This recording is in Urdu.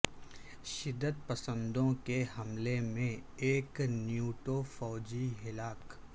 شدت پسندوں کے حملے میں ایک نیٹو فوجی ہلاک